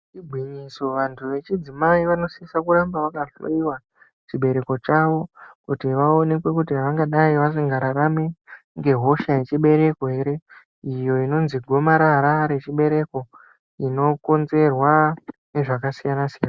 Igwinyiso, vantu vechidzimai vanosisa kuramba vakahloyiwa chibereko chavo kuti vaonekwe kuti vangadai vasingararami ngegosha yechibereko here iyo inonzi gomarara rechibereko inokonzerwa nezvakasiyana-siyana.